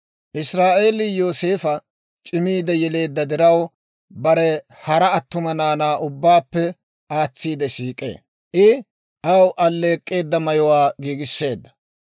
Israa'eelii Yooseefa c'imiide yeleedda diraw, bare hara attuma naanaa ubbaappe aatsiide siik'ee. I aw alleek'k'eedda mayuwaa giigisseedda.